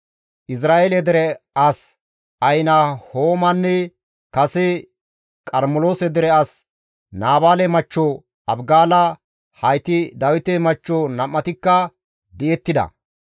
Izra7eele dere as Ahinahoomanne kase Qarmeloose dere as Naabaale machcho Abigaala hayti Dawite machcho nam7atikka di7ettida.